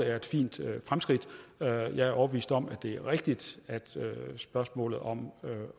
er et fint fremskridt jeg er overbevist om at det er rigtigt at spørgsmålet om